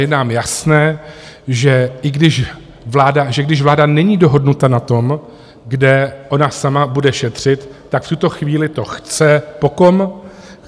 Je nám jasné, že i když vláda není dohodnuta na tom, kde ona sama bude šetřit, tak v tuto chvíli to chce po kom?